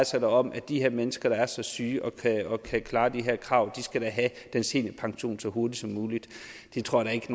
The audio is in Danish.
sig da om at de her mennesker der er så syge og kan klare de her krav skal da have den seniorpension så hurtigt som muligt det tror jeg ikke